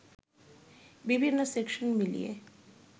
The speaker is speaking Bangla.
বিভিন্ন সেকশন মিলিয়ে